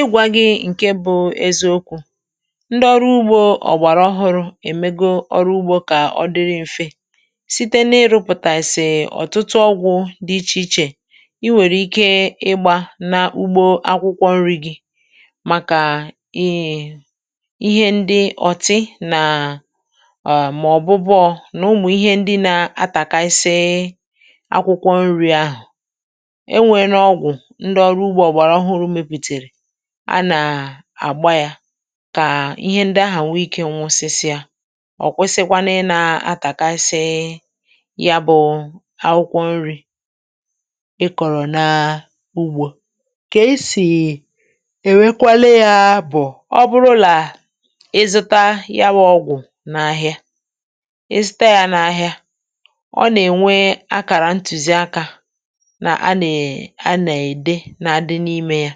Ị gwȧ gị̇ ǹke bụ̇ eziokwu̇ ndị ọrụ ugbȯ ọ̀gbàrà ọhụrụ̇ èmego ọrụ ugbȯ kà ọ dịrị mfe site n’ịrụ̇pụ̀tà sị ọ̀tụtụ ọgwụ̇ dị ichè ichè i nwèrè ike ịgbȧ na ugbȯ akwụkwọ nri̇ gi̇ màkà ihé íhé ndị ọ̀tị nà um mà ọ̀bụbụọ nà ụmụ̀ ihé ndị nà atàkȧ ị sịị akwụkwọ nri̇ ahụ̀ e nwèè nà ọgwụ̀ ndị ọrụ ugbo ọgbàrà ọhụrụ meputere à nà àgba yȧ kà ihe ndị ahụ̀ nwee ikė nwụsịsịa ọ̀ kwụsịkwanụ ị nȧ atàkasị ya bụ̇ akwụkwọ nri̇ ị kọ̀rọ̀ nà ugbȯ. Kà esì èwekwalị yȧ bụ̀ ọ bụrụlà ị zụta ya bụ ọgwụ̀ n’ahịa ị zụta yȧ n’ahịa ọ nà-ènwe akàrà ntùzi akȧ nà a nà è a nà ède na adị n’imė ya,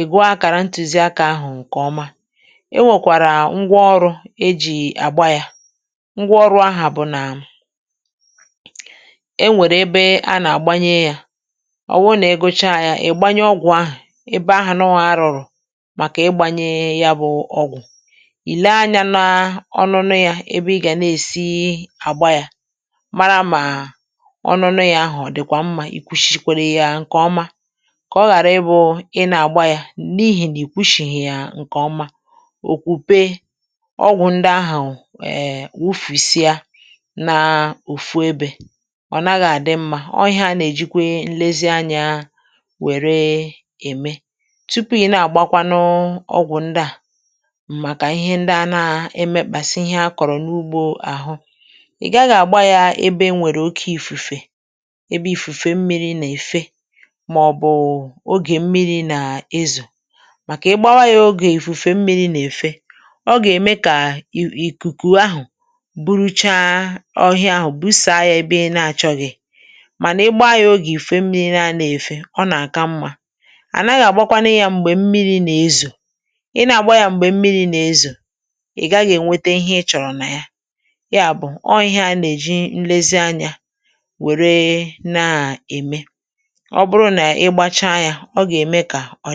ị́ gụọ akàrà ntùziakȧ ahụ̀ ǹkè ọma e nwèkwàrà ngwa ọrụ̇ e jì àgba yȧ ngwa ọrụ̇ aha bụ̀ nà e nwèrè ebe a nà-àgbanye yȧ ọ̀ wụ nà ịgụ chá yȧ ị̀ gbanye ọgwụ̀ ahụ̀ ebe áhụ nà arụrụ màkà ị gbȧnye ya bụ̇ ọgwụ̀ ì lee anyȧ n’ọnụnụ yȧ ebe ị gà na-èsi àgba yȧ mara mà ọnụnụ yȧ ahụ̀ ọ dịkwa mmȧ ì kwuchichikwere yȧ ǹkè ọma ka ọ ghara ị bụ ị na agba yá n’ihì nà ì kwụshìyi yà ǹkè ọma òkwùpe ọgwụ̀ ǹdị ahụ̀ um wùfùsia n’òfu ebė ọ̀ naghị̇ àdị mmȧ ọ̇ ihe anà èjikwe nlezianyȧ wère ème. Tupu i̇ na-agba kwánụ ọgwụ̀ ǹdị à màkà ihe ndi a nà-emekpàsị ihe akọ̀rọ̀ n’ugbȯ àhụ ị̀ gaghị̇ àgba yȧ ebe e nwèrè oke ìfùfè ebe ìfùfè mmiri nà èfe mà ọ bụ ógè mmiri nà ezo màkà igbȧwa yȧ ogè ìfufe mmiri nà èfe ọ gà-ème kà i ìkùkù ahụ̀ buruchaa ọhịa ahụ̀ busaa ya ebe i na-achọ̇ghị̇ mànà igba yȧ ogè ifufe mmiri na-anà èfe ọ nà-àka mmȧ à naghị̇ àgbakwa nụ yȧ m̀gbè mmiri nà-ezò ị na-àgba yȧ m̀gbè mmiri nà-ezò ị̀ gaghị̇ ènwete ihé ị chọ̀rọ̀ nà yá, yá bù ọ ihé a nà-èji nlezi anyȧ wère na-ème. Ọ bụrụ ná ịgba chaa yá, ọ ga eme ka ọ dị.